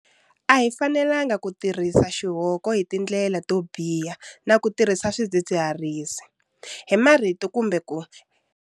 A hi fanelanga ku tirhisa xihoko hi tindlela to biha na ku tirhisa swidzidziharisi. Hi marito kumbe ku.